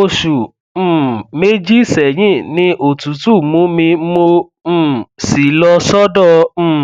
oṣù um méjì sẹyìn ni òtútù mú mi mo um sì lọ sọdọ um